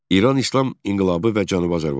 İran İslam İnqilabı və Cənubi Azərbaycan.